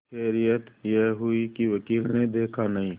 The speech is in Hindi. खैरियत यह हुई कि वकील ने देखा नहीं